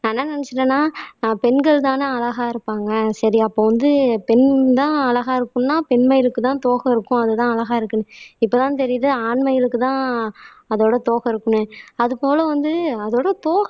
நான் என்ன நினைச்சுட்டேன்னா அஹ் பெண்கள்தானே அழகா இருப்பாங்க சரி அப்போ வந்து பெண்தான் அழகா இருக்கணும்ன்னா பெண் மயிலுக்குதான் தோகை இருக்கும் அதுதான் அழகா இருக்குன்னு இப்பதான் தெரியுது ஆண் மயிலுக்குத்தான் அதோட தோகை இருக்குண்ணே அது போல வந்து அதோட தோகை